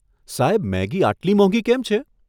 સાહેબ, મેગી આટલી મોંઘી કેમ છે?